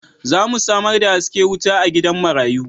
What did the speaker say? Za mu samar da haske wuta a gidan marayu.